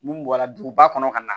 Mun bɔra duguba kɔnɔ ka na